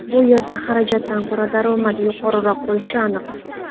Bu yerda xarajatdan ko‘ra daromad yuqoriroq bo‘lishi aniq.